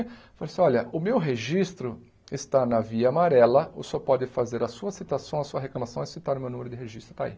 Ele falou assim, olha, o meu registro está na via amarela, o senhor pode fazer a sua citação, a sua reclamação e citar o meu número de registro, está aí.